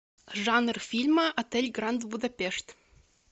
жанр фильма отель гранд будапешт